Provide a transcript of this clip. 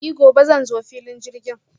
I gobe zan zo filin jirgin.